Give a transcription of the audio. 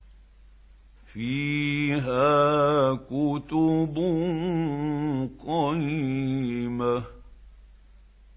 فِيهَا كُتُبٌ قَيِّمَةٌ